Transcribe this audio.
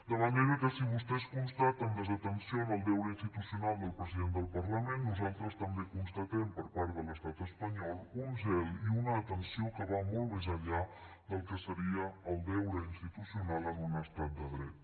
de manera que si vostès constaten desatenció en el deure institucional del president del parlament nosaltres també constatem per part de l’estat espanyol un zel i una atenció que van molt més enllà del que seria el deure institucional en un estat de dret